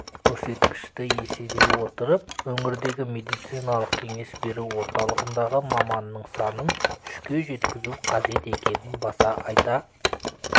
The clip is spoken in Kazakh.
көрсеткішті есере отырып өңірдегі медициналық-кеңес беру орталығындағы маманның санын үшке жеткізу қажет екенін баса айта